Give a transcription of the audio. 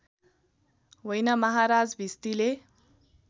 होइन महाराज भिस्तीले